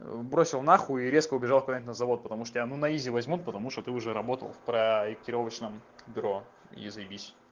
бросил на хуй и резко убежал куда-нибудь завод потому что я ну на изи возьмут потому что ты уже работал в проектировочном бюро и заебись